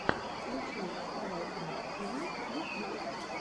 включи вставалкина тиви ютьюб